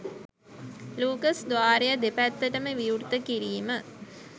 Lucas ද්වාරය දෙපැත්තටම විවෘත කිරීම